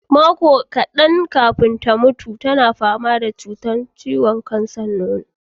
Makon kaɗan kafin ta mutu, tana fama da cutar kansar nono.